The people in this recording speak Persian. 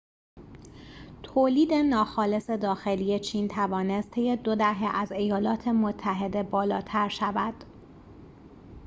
تولید ناخالص داخلی چین توانست طی دو دهه از ایالات متحده بالاتر شود